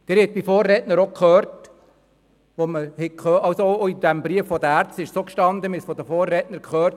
Wir haben es von meinen Vorrednern gehört, es stand auch im Brief der Ärzte: